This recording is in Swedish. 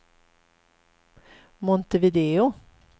Montevideo